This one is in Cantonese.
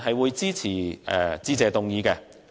我支持致謝議案。